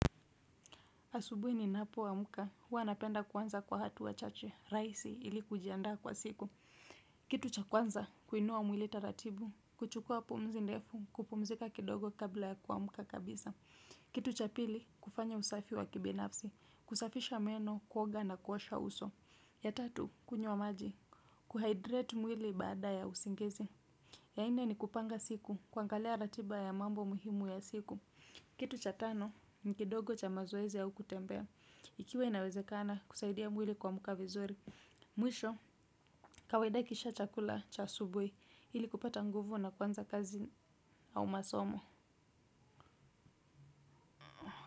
Asubuhi ni napoamka, huwa napenda kuanza kwa hatua chache, raisi ili kujiandaa kwa siku. Kitu cha kwanza, kuinua mwili taratibu, kuchukua pumzi ndefu, kupumzika kidogo kabla ya kuamka kabisa. Kitu cha pili, kufanya usafi wa kibinafsi, kusafisha meno, kuoga na kuasha uso. Ya tatu, kunywa maji, kuhydrate mwili baada ya usingizi. Ya nne ni kupanga siku, kuangalia ratiba ya mambo muhimu ya siku. Kitu cha tano, ni kidogo cha mazoezi au kutembea, ikiwa inawezekana kusaidia mwili kuamka vizuri. Mwisho, kaiwada kisha chakula cha asubuhi ili kupata nguvu na kuanza kazi au masomo.